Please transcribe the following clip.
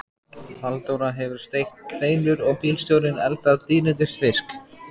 Halldóra hefur steikt kleinur og bílstjórinn eldað dýrindis fisk.